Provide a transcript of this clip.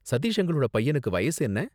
சதீஷ் அங்கிளோட பையனுக்கு வயசு என்ன?